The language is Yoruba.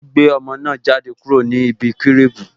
O gbé ọmọ náà jáde kúrò ní ibi cribu